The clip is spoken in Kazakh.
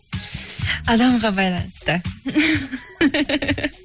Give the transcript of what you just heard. адамға байланысты